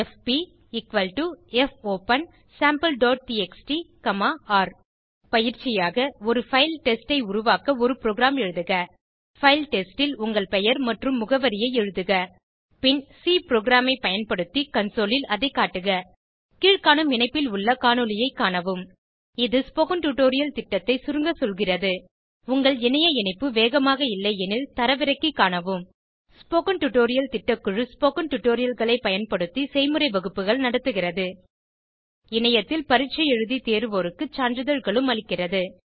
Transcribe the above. எஃபி fopensampleடிஎக்ஸ்டி ர் பயிற்சியாக ஒரு பைல் டெஸ்ட் ஐ உருவாக்க ஒரு புரோகிராம் எழுதுக பைல் டெஸ்ட் ல் உங்கள் பெயர் மற்றும் முகவரியை எழுதுக பின் சி புரோகிராம் ஐ பயன்படுத்தி கன்சோல் ல் அதை காட்டுக கீழ்காணும் இணைப்பில் உள்ள காணொளியைக் காணவும் இது ஸ்போகன் டுடோரியல் திட்டத்தை சுருங்க சொல்கிறது உங்கள் இணைய இணைப்பு வேகமாக இல்லையெனில் தரவிறக்கி காணவும் ஸ்போகன் டுடோரியல் திட்டக்குழு ஸ்போகன் டுடோரியல்களை பயன்படுத்தி செய்முறை வகுப்புகள் நடத்துகிறது இணையத்தில் பரீட்சை எழுதி தேர்வோருக்கு சான்றிதழ்களும் அளிக்கிறது